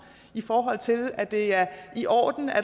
i forhold til at det er i orden at